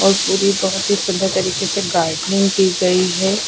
और पूरी बहोत ही सुंदर तरीके से गार्डनिंग की गई है।